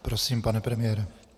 Prosím, pane premiére.